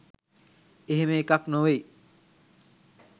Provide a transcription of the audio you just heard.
එහෙම එකක්‌ නොවෙයි.